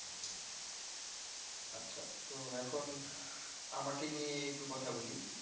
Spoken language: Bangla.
আচ্ছা ত এখন আমাকে নিয়ে একটু কথা বলি